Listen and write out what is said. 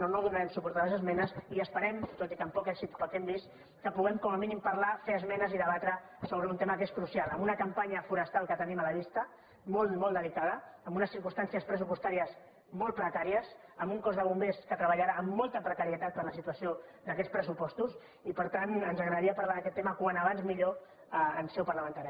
o no donarem suport a les esmenes i esperem tot i que amb poc èxit pel que hem vist que puguem com a mínim parlar fer es·menes i debatre sobre un tema que és crucial amb una campanya forestal que tenim a la vista molt i molt de·licada amb unes circumstàncies pressupostàries molt precàries amb un cos de bombers que treballarà amb molta precarietat per la situació d’aquests pressupos·tos i per tant ens agradaria parlar d’aquest tema com abans millor en seu parlamentària